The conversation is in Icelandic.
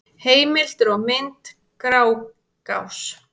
Heimildir og mynd: Grágás.